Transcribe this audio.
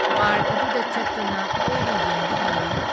Park ꯑꯗꯨꯗ ꯆꯠꯇꯨꯅ ꯀꯣꯏꯅ ꯌꯦꯡꯕ ꯍꯧꯏ ꯫